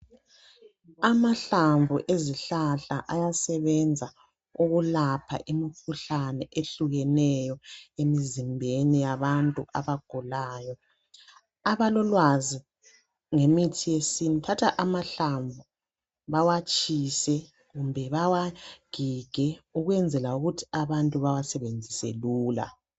Amahlamvu ezihlahla ayasebenza ukulapha imikhuhlane ehlukeneyo, emizimbeni yabantu, abagulayo. Abalolwazi ngemithi yesintu, bathatha amahlamvu bawatshise. Kumbe bawagige, ukunzela ukuthi abantu bawasebenzise lula.